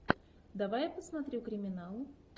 давай я посмотрю криминал